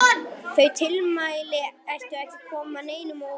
Þau tilmæli ættu ekki að koma neinum á óvart.